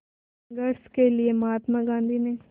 संघर्ष के लिए महात्मा गांधी ने